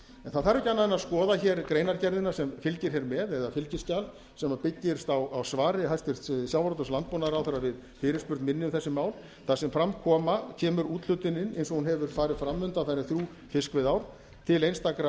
það þarf ekki annað en að skoða greinargerðina sem fylgir hér með eða fylgiskjal sem byggist á svari hæstvirts sjávarútvegs og landbúnaðarráðherra við fyrirspurn minni um þessi mál þar sem fram kemur úthlutunin eins og hún hefur farið fram undanfarin þrjú fiskveiðiár til einstakra